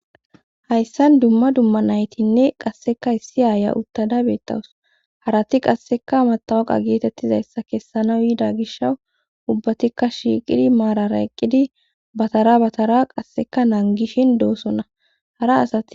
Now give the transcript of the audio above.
Hayssan dumma dumma naytinne qasseka issi aaya uttada beettawus harati qasseka matawaqa geetettizayssa kessana yida gish ubbatikka shiiqidi maarara eqqidi batara batara qasseka naan gishin doosona hara asati.